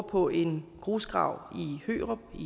på en grusgrav i hørup i